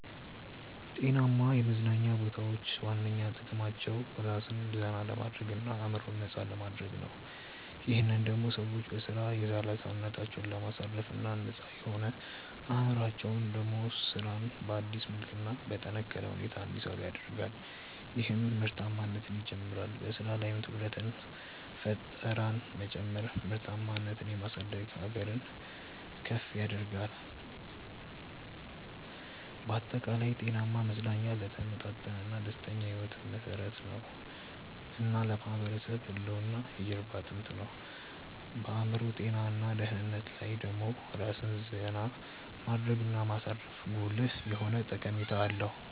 ጤናማ የመዝናኛ ቦታዎች ዋነኛ ጥቅማቸው ራስን ዘና ለማድረግ እና አዕምሮን ነፃ ለማድረግ ነው። ይህም ደሞ ሰዎች በሥራ የዛለ ሰውነታቸውን ለማሳረፍ እና ነፃ የሆነው አዕምሮአቸው ደሞ ስራን በአዲስ መልክ እና በጠነካረ ሁኔታ እንዲሰሩ ያደርጋል ይህም ምርታማነትን ይጨምራል። በሥራ ላይም ትኩረትንና ፈጠራን መጨመር ምርታማነትን የማሳደግ ሀገርን ከፍ ያደርጋል። ባጠቃላይ፣ ጤናማ መዝናኛ ለተመጣጠነና ደስተኛ ሕይወት መሠረት የሆነ እና ለማህበረሰብ ህልውና የጀርባ አጥንት ነው። በአዕምሮ ጤና እና ደህንነት ላይ ደሞ ራስን ዜና ማድረግ እና ማሳረፉ ጉልህ የሆነ ጠቀሜታ አለው።